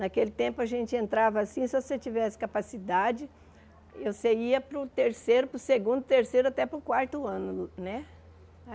Naquele tempo, a gente entrava assim, se você tivesse capacidade, você ia para o terceiro, para o segundo, terceiro, até para o quarto ano, né?